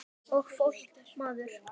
Og fólkið maður.